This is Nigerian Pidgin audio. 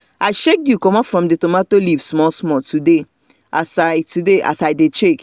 i shake dew comot from the tomato leave small small today as i today as i dey check